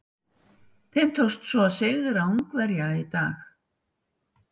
Þeim tókst svo að sigra Ungverja í dag.